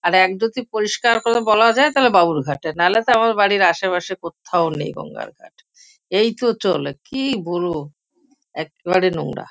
আর এক যদি পরিষ্কার করে বলা যায় তাবে বাবুল ঘাট নাহলে তো আমার বাড়ির আশেপাশে কোত্থাও নেই গঙ্গার ঘাট । এই তো চলে কি বলবো? এক্কেবারে নোংরা।